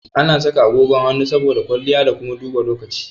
Ana saka agogon hannu saboda kwalliya da kuma duba lokaci.